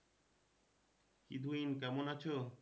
কি তুহিন কেমন আছো?